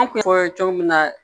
An kun fɔ cogo min na